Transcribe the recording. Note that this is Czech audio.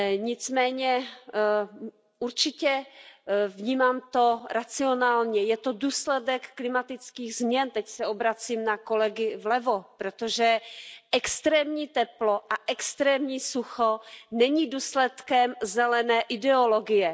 Nicméně, určitě to vnímám racionálně, je to důsledek klimatických změn, teď se obracím na kolegy vlevo, protože extrémní teplo a extrémní sucho není důsledkem zelené ideologie.